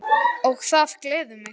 Og það gleður mig!